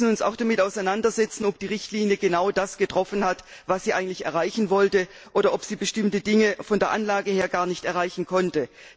Wir müssen uns zudem damit auseinandersetzen, ob die Richtlinie genau das bewirkt hat, was sie erreichen sollte, oder ob sie bestimmte Dinge von der Anlage her gar nicht erreichen konnte.